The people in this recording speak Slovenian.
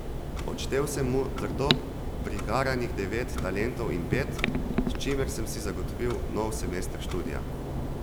Odštel sem mu trdo prigaranih devet talentov in pet, s čimer sem si zagotovil nov semester študija.